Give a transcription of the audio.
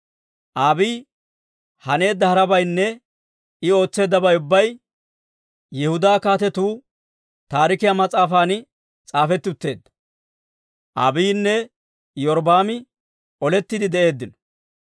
Abiiyi haneedda harabaynne I ootseeddabay ubbay Yihudaa Kaatetuu Taarikiyaa mas'aafan s'aafetti utteedda. Abiiyinne Iyorbbaami olettiide de'eeddino.